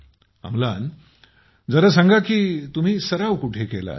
आमलान जरा सांगा कि तुम्ही सराव कुठे केलात